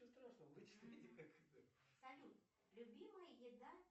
салют любимая еда